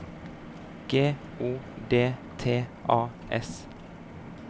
G O D T A S